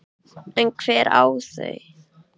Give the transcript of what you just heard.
En hver á þau?